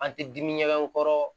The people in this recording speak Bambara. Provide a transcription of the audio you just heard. An tɛ dimi ɲɛgɛn n kɔrɔ